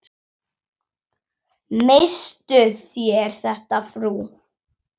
Misstuð þér þetta, frú!